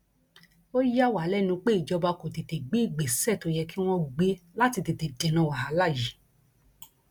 ó yà wá lẹnu pé ìjọba kò tètè gbé ìgbésẹ tó yẹ kí wọn gbé láti tètè dènà wàhálà yìí